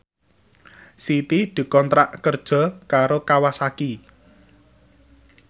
Siti dikontrak kerja karo Kawasaki